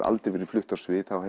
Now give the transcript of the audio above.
aldrei verið flutt á svið þá